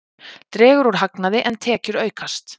Dregur úr hagnaði en tekjur aukast